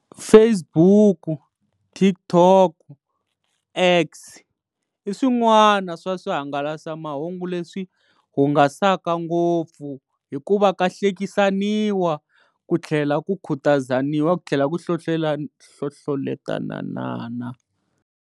Facebook, Tik Tok, X, i swin'wana swa swihangalasamahungu leswi hungasaka ngopfu hikuva ka hlekisaniwa ku tlhela ku khutazaniwa ku tlhela ku hlohloletalanana.